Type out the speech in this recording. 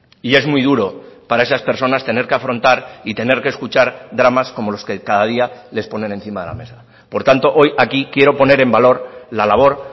y es muy duro para esas personas tener que afrontar y tener que escuchar dramas como los que cada día les ponen encima de la mesa por tanto hoy aquí quiero poner en valor la labor